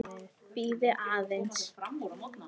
Bíðið aðeins!